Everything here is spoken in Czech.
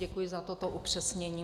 Děkuji za toto upřesnění.